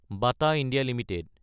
Bata India Ltd